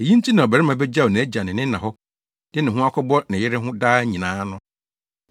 Eyi nti na ɔbarima begyaw nʼagya ne ne na hɔ de ne ho akɔbɔ ne yere ho daa nyinaa no.’